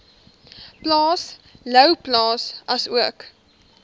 plaas louwplaas asook